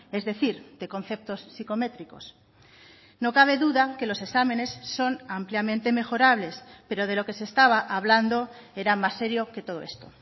es decir de conceptos sicométricos no cabe duda que los exámenes son ampliamente mejorables pero de lo que se estaba hablando era más serio que todo esto